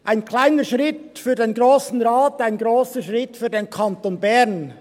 Ein kleiner Schritt für den Grossen Rat, ein grosser Schritt für den Kanton Bern.